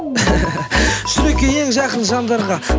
жүрекке ең жақын жандарға